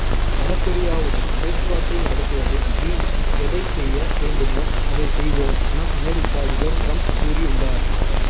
வடகொரியாவுடன் பேச்சுவார்த்தை நடத்துவது வீண் எதை செய்ய வேண்டுமோ அதை செய்வோம் என அமெரிக்கா அதிபர் டிரம்ப் கூறி உள்ளார்